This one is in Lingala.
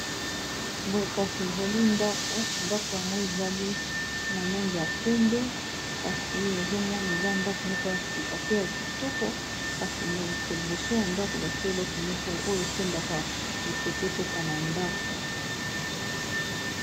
Boye kasi ezali ndako, ndako yango ezali na langi ya pembe kasi ezomona eza ndako moko ya sika pe ya kitoko kasi na likolo boso ya ndako batia eloko moko oyo etindaka mopepe ekota na ndako.